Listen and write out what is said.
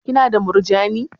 Ki na da murjani?